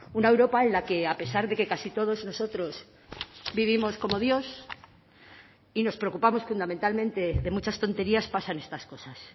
una europa en la que a pesar de que casi todos nosotros vivimos como dios y nos preocupamos fundamentalmente de muchas tonterías pasan estas cosas